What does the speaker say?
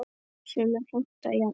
Sumir heimta jafnvel